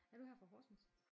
Er du her fra Horsens?